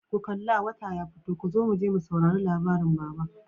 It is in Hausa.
ku kalla! wata ya fito kozo muje mu saurari labarin baba.